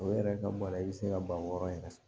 O yɛrɛ ka baara i bɛ se ka ban wɔɔrɔ yɛrɛ fɛ